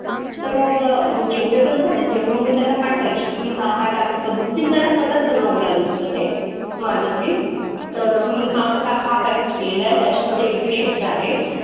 तर मग मग जेवढे पण झालेत, तेवढे मग त्यांना पाठवायची की मी हा हा task complete म्हणजे मला स्वतःच बनवावं लागत होतं ते. माझं bill. तर मी हा ह्या हा passage केलेला आहे, त्याच्यामधे एवढे शब्द आहेत.